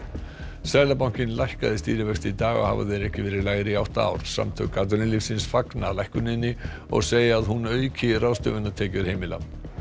seðlabankinn lækkaði stýrivexti í dag og hafa þeir ekki verið lægri í átta ár samtök atvinnulífsins fagna lækkuninni og segja að hún auki ráðstöfunartekjur heimila